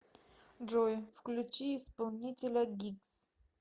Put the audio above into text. джой включи исполнителя гиггс